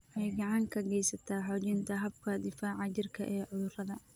Waxay gacan ka geysataa xoojinta habka difaaca jirka ee cudurrada.